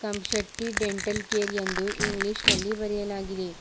Come Shetty dental care ಎಂದು English ನಲ್ಲಿ ಬರೆಯಲಾಗಿದೆ.